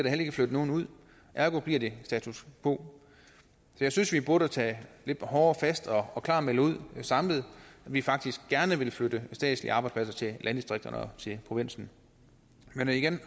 heller ikke flyttet nogen ud ergo bliver det status quo jeg synes vi burde tage lidt hårdere fat og klart melde ud samlet at vi faktisk gerne vil flytte statslige arbejdspladser til landdistrikterne og til provinsen men igen